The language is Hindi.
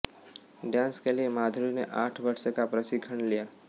डांस के लिए माधुरी ने आठ वर्ष का प्रशिक्षण लिया